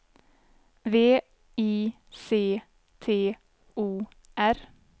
V I C T O R